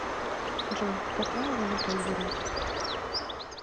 джой какая валюта у бурят